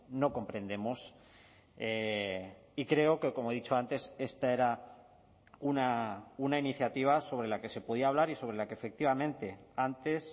no comprendemos y creo que como he dicho antes esta era una iniciativa sobre la que se podía hablar y sobre la que efectivamente antes